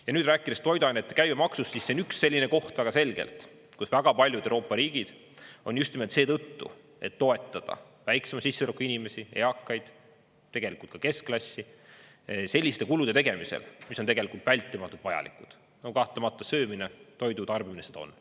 Ja nüüd rääkides toiduainete käibemaksust, siis see on üks selline koht väga selgelt, kus väga paljud Euroopa riigid on just nimelt seetõttu, et toetada väiksema sissetulekuga inimesi – eakaid, tegelikult ka keskklassi – selliste kulude tegemisel, mis on tegelikult vältimatult vajalikud, no kahtlemata söömine, toidu tarbimine seda on.